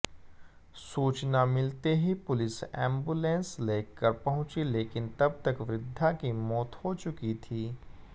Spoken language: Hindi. सूचना मिलते ही पुलिस एंबुलेंसलेकर पहुंची लेकिन तब तक वृद्धा की मौत हो चुकी थी